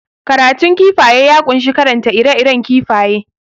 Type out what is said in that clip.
Karatun kifaye ya kunshi karanta ire iren kifaye